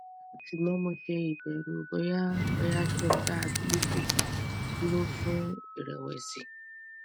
sugbon mo se ibeeru boya boya ki n da abilify duro fun iweresi